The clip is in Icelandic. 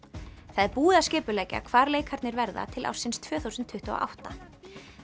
það er búið að skipuleggja hvar leikarnir verða til ársins tvö þúsund tuttugu og átta